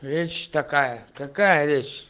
речь такая какая речь